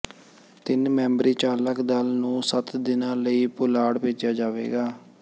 ਤਿੰਨ ਮੈਂਬਰੀ ਚਾਲਕ ਦਲ ਨੂੰ ਸੱਤ ਦਿਨਾਂ ਲਈ ਪੁਲਾੜ ਭੇਜਿਆ ਜਾਵੇਗਾ